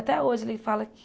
Até hoje ele fala que...